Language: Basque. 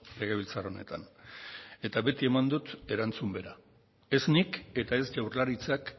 legebiltzar honetan eta beti eman dut erantzun bera ez nik eta ez jaurlaritzak